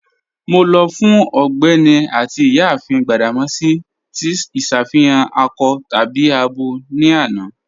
Mọ lọ fun Ọgbẹni àti Iyáàfin Gbadamosi tí iṣàfihàn akọ tàbí àbọ ni àná.